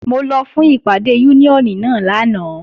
Mo lọ fún ìpàdé Úníónì náà lánàá